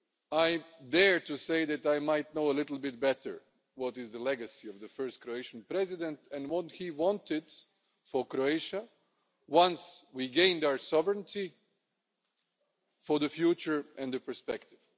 I dare to say that I might know a little bit better what is the legacy of the first Croatian President, and what he wanted for Croatia once we gained our sovereignty for the future and the perspective.